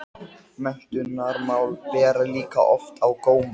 Jónas eins og óskastund þessarar hreyfingar væri upp runnin.